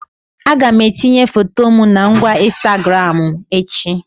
Aga m etinye foto my na ngwa Ịnstagramụ echi